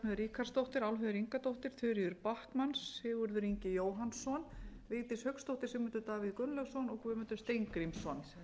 ríkharðsdóttir álfheiður ingadóttir þuríður backman sigurður ingi jóhannsson vigdís hauksdóttir sigmundur davíð gunnlaugsson og guðmundur steingrímsson